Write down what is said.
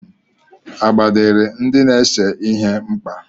Agba dịịrị ndị na-ese ihe mkpa.